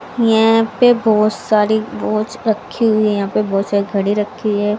यहाँ पे बहुत सारी वॉच रखीं हुई हैं यहाँ पे बहुत सारी घड़ी रखीं हैं।